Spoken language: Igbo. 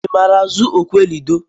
I maara azụ okwe ludo?